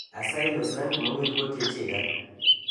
Asayi los rangimowirgo techega